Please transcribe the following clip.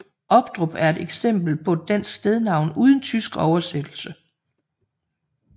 Obdrup er et eksempel på et dansk stednavn uden tysk oversættelse